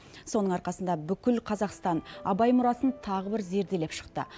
соның арқасында бүкіл қазақстан абай мұрасын тағы бір зерделеп шықты